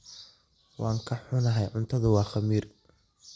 Waan ka xunahay, cuntadu waa khamiir.